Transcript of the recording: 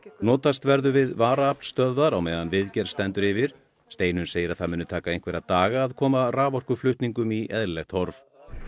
notast verður við varaaflsstöðvar á meðan viðgerð stendur yfir Steinunn segir að það muni taka einhverja daga að koma raforkuflutningum í eðlilegt horf